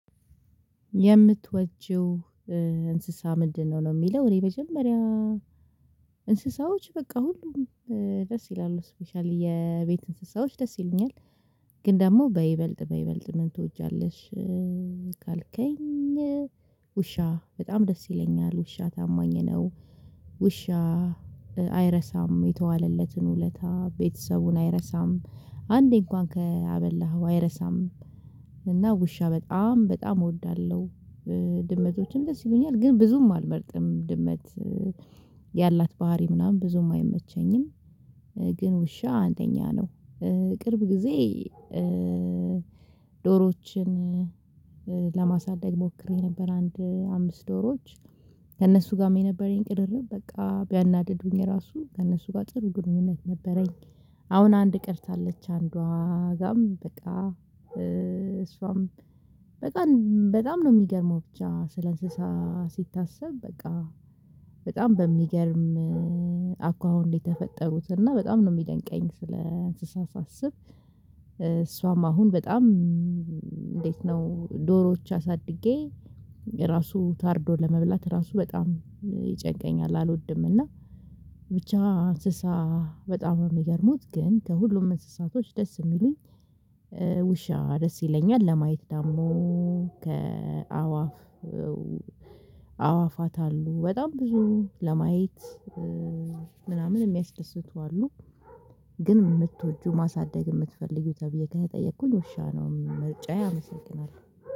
የምትወጂው እንስሳ ምንድነው? ነው የሚለው። እኔ መጀመሪያ እንስሳዎች በቃ ሁሉም ደስ ይላሉ። ስፔሻሊ የቤት እንስሳዎች ደስ ይሉኛል። ግን ደግሞ በይበልጥ በይበልጥ ምን ትወጃለሽ ካልከኝ ውሻ በጣም ደስ ይለኛል። ውሻ ታማኝ ነው። ውሻ አይረሳም የተዋለለትን ውለታ። ቤተሰቡን አይረሳም። አንዴ እንኳን ከአበላኸው አይረሳም። እና ውሻ በጣም በጣም እወዳለሁ። ድመቶችም ደስ ይሉኛል። ግን ብዙም አልመርጥም። ድመት ያላት ባህሪ ምናምን ብዙም አይመቸኝም። ግን ውሻ አንደኛ ነው። ቅርብ ጊዜ ዶሮዎችን ለማሳደግ ሞክሬ ነበር አንድ አምስት ዶሮዎች ከእነሱ ጋር የነበረኝ ቅርርብ በቃ ቢያናድዱኝ ራሱ ከእነሱ ጋር ጥሩ ግንኙነት ነበረኝ። አሁን አንድ ቀርታለች። አንዷ ጋርም በቃ እሷም በቃ በጣም ነው የሚገርመው ብቻ ስለ እንስሳ ሲታሰብ በቃ በጣም በሚገርም አኳኋን ነው የተፈጠሩት እና በጣም ነው የሚደንቀኝ ስለ እንስሳ ሳስብ። እሷም አሁን በጣም እንዴት ነው ዶሮዎች አሳድጌ ራሱ ታርዶ ለመብላት ራሱ በጣም ይጨንቀኛል አልወድም እና ብቻ እንስሳ በጣም ነው የሚገርሙት ግን ከሁሉም እንስሳቶች ደስ የሚሉኝ ውሻ ደስ ይለኛል። ለማየት ደግሞ ከአእዋፍ አእዋፋት አሉ። በጣም ብዙ ለማየት ምናምን የሚያስደስቱ አሉ። ግን የምትወጂው ማሳደግ የምትፈልጊው ተብዬ ከተጠየኩኝ ውሻ ነው ምርጫዬ አመሰግናለሁ።